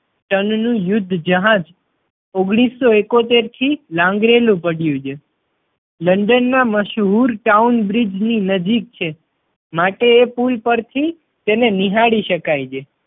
Ton નું યુદ્ધ જહાજ ઓગણીસો ઇકોતેર થી લાંગરેલું પડ્યું છે. લંડન માં મશહૂર ટાઉન બ્રિજ ની નજીક છે માટે એ પુલ પર થી તેને નિહાળી શકાય છે.